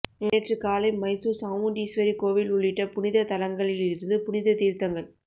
நேற்று காலை மைசூர் சாமுண்டீஸ்வரி கோவில் உள்ளிட்ட புனித தலங்களில் இருந்து புனித தீர்த்தங்கள்